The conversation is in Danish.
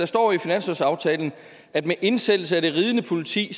står bla at med indsættelsen af det ridende politi